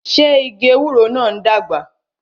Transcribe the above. Ṣé igi ewúro náà ń dàgbà?